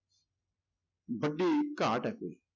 ਵੱਡੀ ਘਾਟ ਹੈ ਕੋਈ।